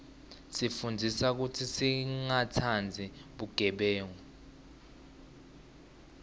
isifundzisa kutsi singatsandzi bugebengu